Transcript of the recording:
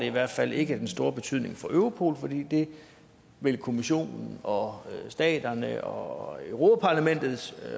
i hvert fald ikke den store betydning for europol fordi det vil kommissionen og staterne og europa parlamentet